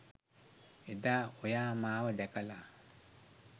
එදා ඔයා මාව දැකලා